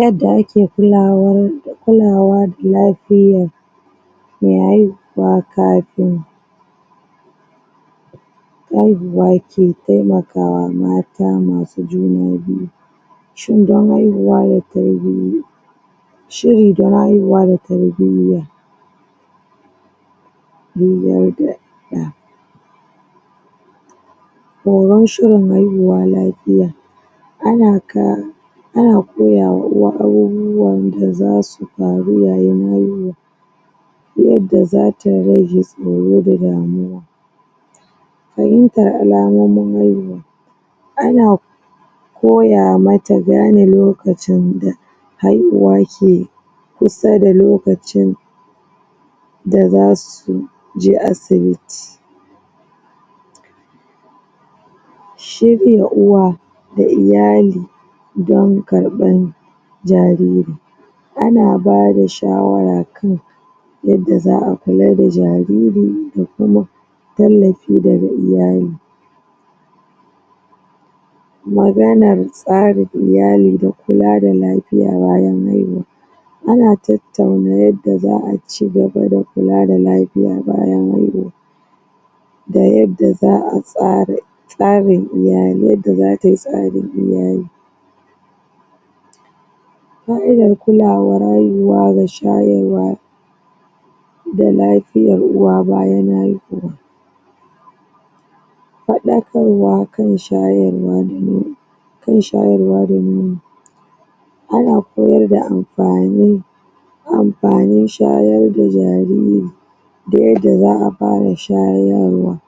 Yadda ake kulawa kulawa da lafiyar me haihuwa kafin haihuwa ke temakawa ma ta masu juna biyu shirin dan haihuwa da tarbiyya shiri dan haihuwa da tarbiyya juyar da ɗa horo shirin haihuwa lafiya ana ka ana koyama uwa abubuwan dazasu faru yayin haihuwa yadda zata rage horo da damuwa fahimtar alamomin haihuwa ana koya mata gane lokacin da haihuwa ke kusa da lokacin da zasu je asibiti shir ya uwa da iyali dan karɓan jariri ana bada shawara kan yadda za a kula da jariri da kuma tallafi daga iyali maganar tsarin iyali da kula da lafiya bayan haihuwa ana tattauna yadda za a ci gaba da kula da lafiya bayan hahuwa da yadda za a tsara tsarin iyali, yadda zatayi tsarin iyali fa'idar kulawar haihuwa da shayarwa da lafiyar uwa bayan haihuwa faɗakarwa kan shayarwa da nono kan shayarwa da nono ana koyarda amfani amfanin shayar da jariri da yadda za a fara shayarwa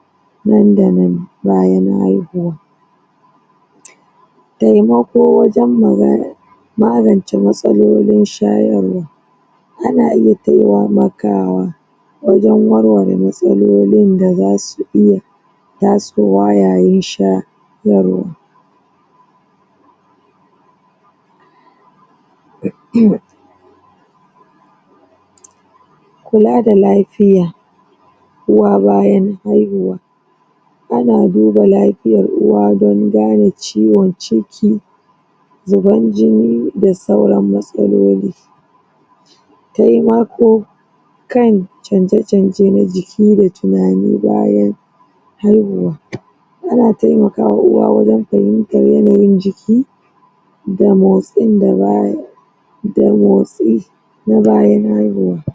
nan da nan bayan haihuwa temako wajan magana magance matsalolin shayarwa ana iya temakawa wajen war ware matsalolin dazasu iya tasowa yayin sha yarwa? kula da lafiya uwa bayan haihuwa ana duba la fiyar uwa don gane ciwon ciki zuban jini da sauran matsaloli temako kan canja canje na ji ki da tinani bayan haihuwa ana temakama uwa wajan fahimtan yanayin jiki damotsin da baya da motsi na bayan haihuwa